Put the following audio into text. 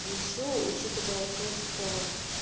а ещё учитывая то что